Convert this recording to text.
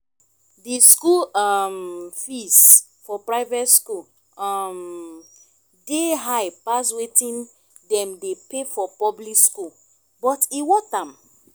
di school um fees for private school um dey high pass wetin dem dey pay for public school but e worth am